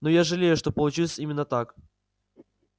но я жалею что получилось именно так